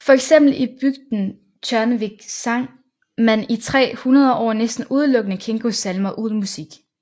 For eksempel i bygden Tjørnuvík sang man i tre hundrede år næsten udelukkende Kingos salmer uden musik